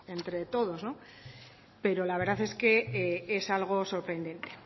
entre todos pero la verdad es que es algo sorprendente